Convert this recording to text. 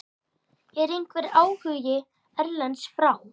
Er einhver áhugi erlendis frá?